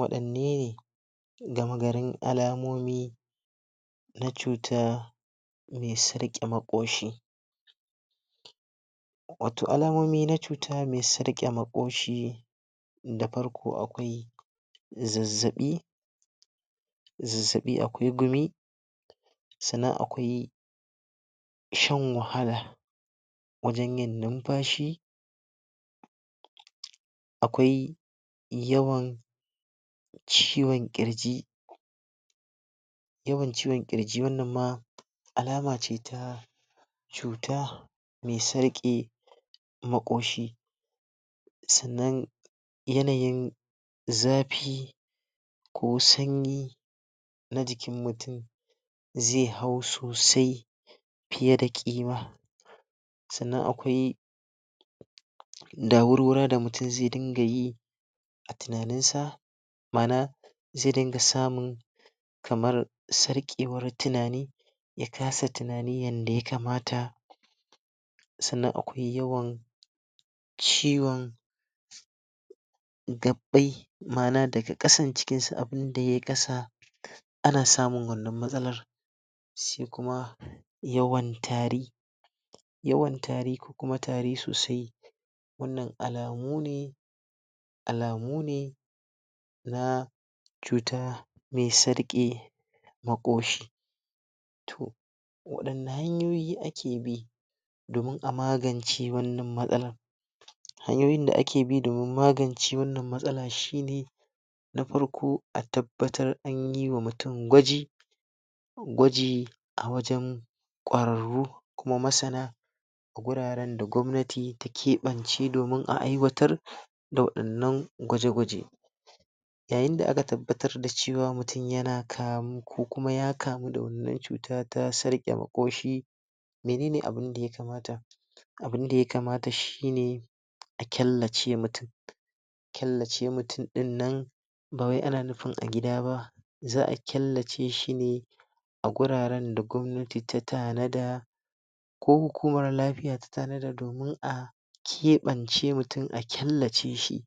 wadanne ne gama garin alamomi na cuta me tsarke makoshi wato alamomi na cuta me tsarke makoshi da farko akwai zazzabi zazzabi, akwai gumi sannan akwai shan wahala wajen yin numfashi akwai yawan ciwon kirji yawan ciwon kirji, wannan ma alama ce ta cuta me tsarke makoshi sannan yanayin zafi ko sanyi na jikin mutum ze hau sosai fiye da kima. Sannan akwai da mutum ze dinga yi a tunanin sa ze dinga samun kamar tsarkewan tunani ya kasa tunani yadda ya kamata sannan akwai yawan ciwon mana daga kasan cikin su inda ya kasa ana samun wannan matsalar sai kuma yawan tari yawan tari ko kuma tari sosai wannan alamu ne alamu ne na cuta me tsarke makoshi. toh wadanna hanyoyi ake bi domin a magance wannan matsalar hanyoyin da ake bi domin magance wannan matsala shi ne na farko a tabbatar anyi wa mutum gwaji gwaji a wajen kwararru kuma masana guraren da gwamnati take bance domin a aiwatar da wadannan gwaje gwaje. yayin da aka tabbatar da cewa mutum yana kamu ko kuma ya kamu da wannan cuta ta tsarke makoshi menene abun da ya kamata? abun da ya kamata shi ne a kyallace mutum kyallace mutum din nan ba wai ana nufin a gida ba za a kyallace shi ne a guraren da gwamnati ta ko kuma lafiyar ta domin a kebance mutum a kyallace shi